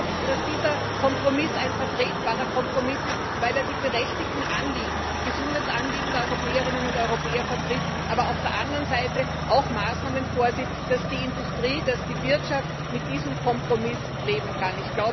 Ich glaube, dass dieser Kompromiss ein vertretbarer Kompromiss ist, weil er die berechtigten Anliegen, die Gesundheitsanliegen der Europäerinnen und Europäer vertritt, aber auf der anderen Seite auch Maßnahmen vorsieht, sodass die Industrie, sodass die Wirtschaft mit diesem Kompromiss leben kann.